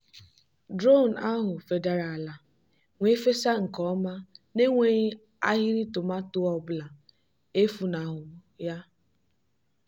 drone ahụ fedara ala wee fesa nke ọma n'enweghị ahịrị tomato ọ bụla efunahụ ya.